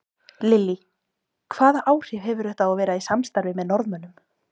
Lillý: Hvaða áhrif hefur þetta að vera í samstarfi með Norðmönnum?